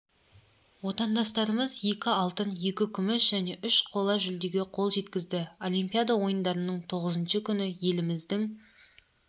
отандастарымыз екі алтын екі күміс және үш қола жүлдеге қол жеткізді олимпиада ойындарының тоғызыншы күні еліміздің